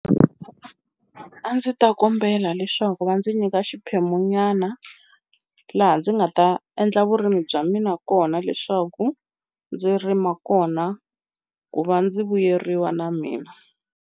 A ndzi ta kombela leswaku va ndzi nyika xiphemunyana laha ndzi nga ta endla vurimi bya mina kona leswaku ndzi rima kona ku va ndzi vuyeriwa na mina.